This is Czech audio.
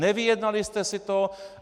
Nevyjednali jste si to.